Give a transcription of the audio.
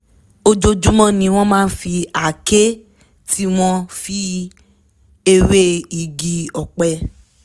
ojoojúmọ́ ni wọ́n máa fi àáké tí wọ́n fi ewé igi ọ̀pẹ